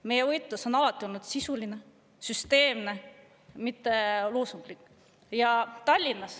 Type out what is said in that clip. Meie võitlus on alati olnud sisuline ja süsteemne, mitte loosunglik.